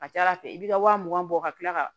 Ka ca ala fɛ i b'i ka wa mugan bɔ ka tila ka